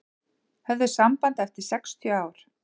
Höfðu samband eftir sextíu ár